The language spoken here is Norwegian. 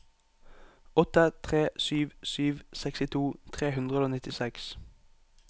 åtte tre sju sju sekstito tre hundre og nittiseks